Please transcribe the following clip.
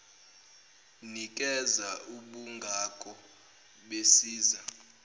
nikeza ubungako besiza